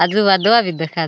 अजु न वादला बी देखात.